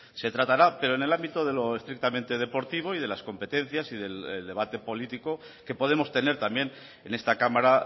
se tratará pero en el ámbito de lo estrictamente deportivo y de las competencias y del debate político que podemos tener también en esta cámara